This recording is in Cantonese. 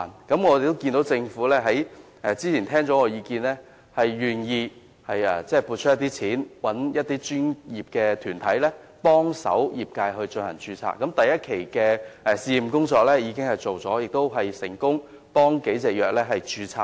不過，我們看到政府聆聽了我的意見後，願意撥款聘請專業團體協助業界註冊，第一期的試驗工作已經完成，亦成功協助了數種藥物註冊。